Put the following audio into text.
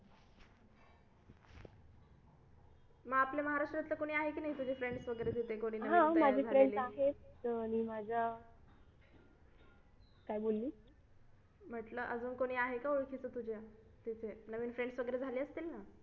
मग आपल्या महाराष्ट्रातलं कोणी आहे की नाही तुझे friends वगैरे तिथे कोणी आणि माझ्या काय बोललीस म्हटलं कोणी आहे का अजून तुझ्या ओळखीचा तुझ्या नवीन friends वगैरे झाले असतील ना